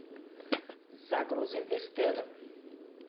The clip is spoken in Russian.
загрузи вестерн